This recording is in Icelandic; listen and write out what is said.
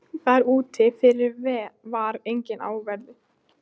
Þar úti fyrir var enginn á verði.